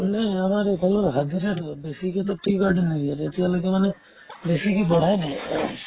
মানে আমাৰ এইফালৰ হাজিৰাতো বেছিকে to tea garden য়ে ইয়াত এতিয়ালৈকে মানে বেছিকে বঢ়াই দিয়ে